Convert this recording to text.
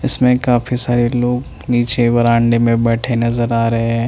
इसमें काफी सारे लोग नीचे बरांडे में बैठे नजर आ रहे हैं।